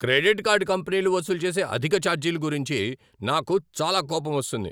Credit card కంపెనీలు వసూలు చేసే అధిక ఛార్జీలు గురించి నాకు చాలా కోపమొస్తుంది.